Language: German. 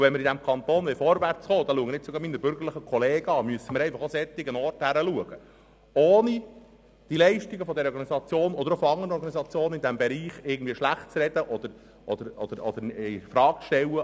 Wenn wir in diesem Kanton vorwärtskommen wollen – ich richte mich hierbei gerade an meine bürgerlichen Kollegen –, müssen wir auch an solchen Orten hinsehen, ohne die Leistungen dieser Organisation oder anderer Organisationen in diesem Bereich schlechtzureden oder infrage zu stellen.